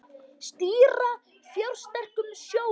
Stýra fjársterkum sjóðum